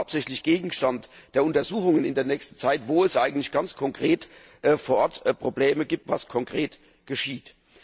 Das ist ja auch der hauptsächliche Gegenstand der Untersuchungen in der nächsten Zeit, wo es eigentlich ganz konkret vor Ort Probleme gibt, was konkret geschieht.